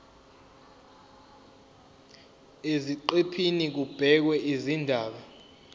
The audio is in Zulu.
eziqephini kubhekwe izindaba